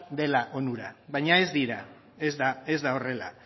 dela onura baina ez da horrela